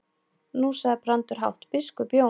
Nú sagði Brandur hátt:-Biskup Jón!